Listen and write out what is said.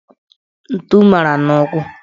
Ntu mara n' ụkwụ.